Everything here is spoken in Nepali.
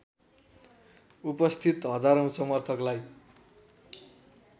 उपस्थित हजारौं समर्थकलाई